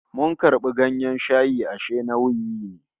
Mun karbi ganyen shayi ashe na wiwi ne